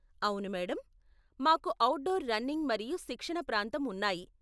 అవును మేడమ్, మాకు outdoor running మరియు శిక్షణ ప్రాంతం ఉన్నాయి.